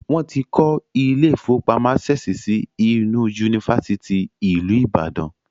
Wọ́n ti kọ́ ilé ìfọwọ́pamo Access si inú ifáfitì ìlú Ìbàdàn.